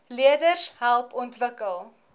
leerders help ontwikkel